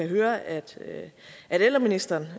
høre at ældreministeren